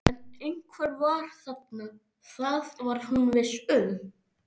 En einhver var þarna, það var hún viss um.